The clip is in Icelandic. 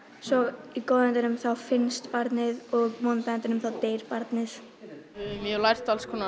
svo í góða endinum þá finnst barnið og í vonda endinum þá deyr barnið ég hef lært alls konar